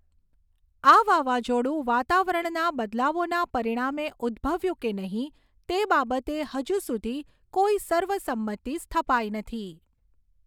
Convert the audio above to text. આ વાવાઝોડું વાતાવરણના બદલાવોના પરિણામે ઉદ્દભવ્યું કે નહીં તે બાબતે હજુ સુધી કોઈ સર્વસંમતિ સ્થપાઈ નથી.